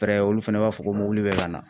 pɛrɛ olu fɛnɛ b'a fɔ ko mobili bɛ ka na.